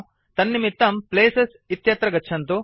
तन्निमित्तं प्लेसेस् इत्यत्र गच्छन्तु